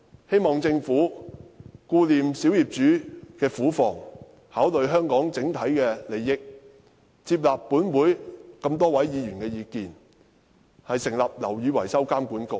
希望政府顧念小業主的苦況，考慮香港的整體利益，接納本會這麼多位議員的意見，成立"樓宇維修工程監管局"。